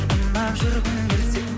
ұнап жүргің келсе